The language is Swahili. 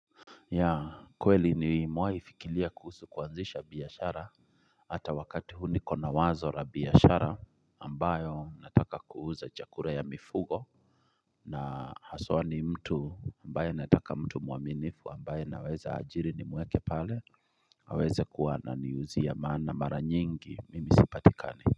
Ya kweli nimewai fikiria kuhusu kuanzisha biashara ata wakati huu nikona wazo la biashara ambayo nataka kuuza chakura ya mifugo na haswa ni mtu ambaye nataka mtu muaminifu ambaye naweza ajiri nimuweke pale aweze kuwa ananiuzia maana mara nyingi mimi sipatikani.